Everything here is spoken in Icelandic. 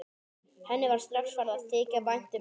Henni var strax farið að þykja vænt um hann.